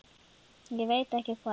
Ég veit ekki hvað